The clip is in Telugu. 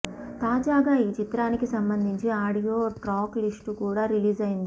తాజాగా ఈ చిత్రానికి సంబంధించి ఆడియో ట్రాక్ లిస్టు కూడా రిలీజైంది